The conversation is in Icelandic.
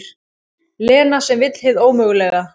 Lena sem vill hið ómögulega.